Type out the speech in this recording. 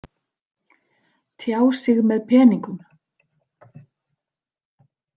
Tjá sig með peningum?